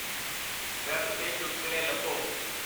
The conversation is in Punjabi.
ਵੈੱਬ 'ਤੇ ਚੁਟਕਲੇ ਲੱਭੋ I